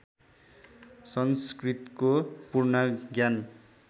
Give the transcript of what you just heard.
संस्कृतको पूर्ण ज्ञान